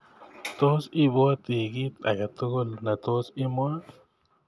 Tos i pwati kit age tugul ne tos imwa